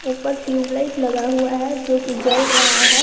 ऊपर tube light लगा हुआ है जो कि जल रहा है।